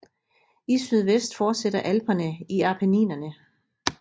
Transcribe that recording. I sydvest fortsætter Alperne i Appenninerne